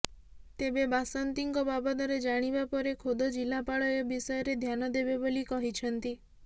ତେବେ ବାସନ୍ତୀଙ୍କ ବାବଦରେ ଜାଣିବା ପରେ ଖୋଦ ଜିଲ୍ଲାପାଳ ଏ ବିଷୟରେ ଧ୍ୟାନ ଦେବେ ବୋଲି କହିଛନ୍ତି